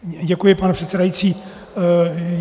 Děkuji, pane předsedající.